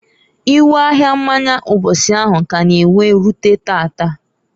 Iwe ahia mmanya mbosi ahụ k'a na- ewe rute taata.